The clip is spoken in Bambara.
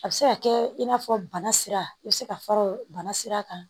A bɛ se ka kɛ i n'a fɔ bana sira i bɛ se ka fara o bana sira kan